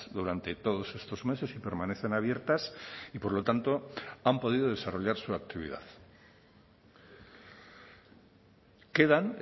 durante todos estos meses y permanecen abiertas y por lo tanto han podido desarrollar su actividad quedan